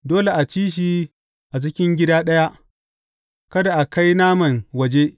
Dole a ci shi a cikin gida ɗaya; kada a kai naman waje.